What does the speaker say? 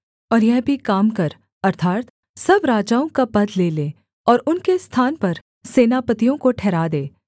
और यह भी काम कर अर्थात् सब राजाओं का पद ले ले और उनके स्थान पर सेनापतियों को ठहरा दे